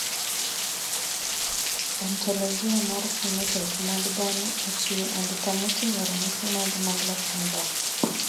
Ontologia mar phenotype mag dhano ochiwo andika moting`o ranyisi mag Miller syndrome.